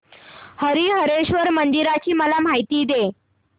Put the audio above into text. हरीहरेश्वर मंदिराची मला माहिती दे